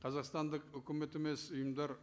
қазақстандық үкімет емес ұйымдар